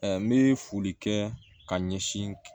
N bɛ foli kɛ ka ɲɛsin